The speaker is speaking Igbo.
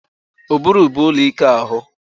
Ụbụrụ bụ ụlọ ike ahụ